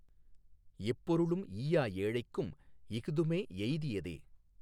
எப்பொருளும் ஈயா ஏழைக்கும் இஃதுமே எய்தியதே!